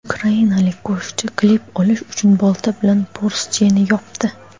Ukrainalik qo‘shiqchi klip olish uchun bolta bilan Porsche’ni chopdi.